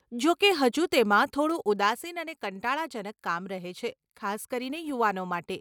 જોકે, હજુ તેમાં થોડું ઉદાસીન અને કંટાળાજનક કામ રહે છે, ખાસ કરીને યુવાનો માટે.